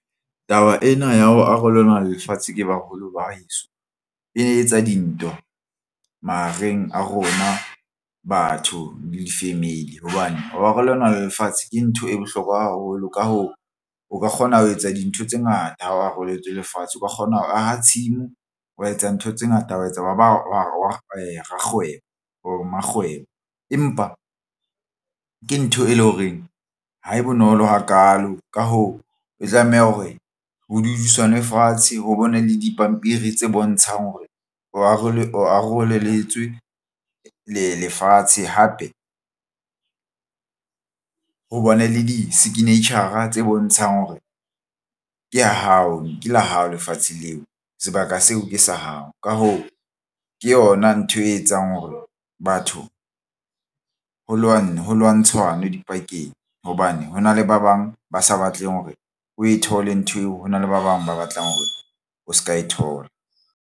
Taba ena ya ho arolelwa lefatshe ke baholo ba heso e etsa dintwa mahareng a rona batho di-family hobane ho arolelwa lefatshe ke ntho e bohlokwa haholo ka ho o ka kgona ho etsa dintho tse ngata. Ha o aroletswe lefatshe o ka kgona ho aha tshimo, wa etsa ntho tse ngata, wa etsa wa ba rakgwebo bo mmakgwebo, empa ke ntho e leng horeng ha e bonolo hakaalo. Ka hoo, o tlameha hore ho dudisanwe fatshe ho bona le dipampiri tse bontshang hore o aroleletswe lefatshe. Hape ho bane le di-signature-a tse bontshang hore ke ya hao ke la hao lefatshe leo sebaka seo ke sa hao. Ka hoo, ke yona ntho e etsang hore batho ho lwana ho lwantshana dipakeng hobane hona le ba bang ba sa batleng hore o e thole ntho eo hona le ba bang ba batlang hore o se ka e thola.